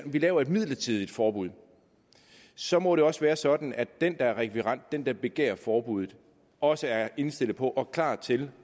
laver et midlertidigt forbud så må det også være sådan at den der er rekvirent den der begærer forbuddet også er indstillet på og klar til